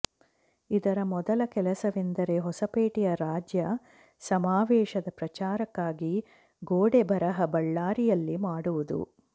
ಇದರ ಮೊದಲ ಕೆಲಸವೆಂದರೆ ಹೊಸಪೇಟೆಯ ರಾಜ್ಯ ಸಮಾವೇಶದ ಪ್ರಚಾರಕ್ಕಾಗಿ ಗೋಡೆ ಬರಹ ಬಳ್ಳಾರಿಯಲ್ಲಿ ಮಾಡುವುದು